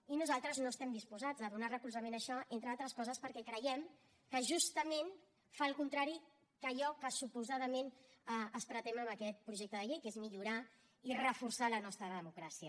i nosaltres no estem disposats a donar recolzament a això entre altres coses perquè creiem que justament fa el contrari d’allò que suposadament es pretén amb aquest projecte de llei que és millorar i reforçar la nostra democràcia